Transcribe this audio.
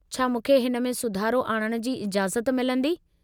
छा मूंखे हिन में सुधारो आणण जी इजाज़त मिलंदी?